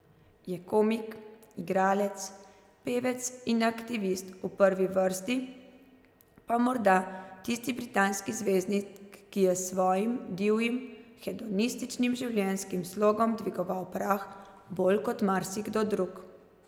Je komik, igralec, pevec in aktivist, v prvi vrsti pa morda tisti britanski zvezdnik, ki je s svojim divjim, hedonističnim življenjskim slogom dvigoval prah bolj kot marsikdo drug.